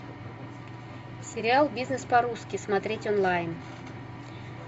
сериал бизнес по русски смотреть онлайн